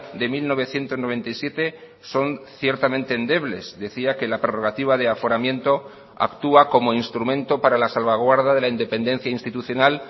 de mil novecientos noventa y siete son ciertamente endebles decía que la prerrogativa de aforamiento actúa como instrumento para la salvaguarda de la independencia institucional